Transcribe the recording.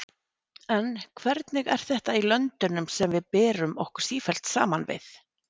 En hvernig er þetta í löndunum sem við berum okkur sífellt saman við?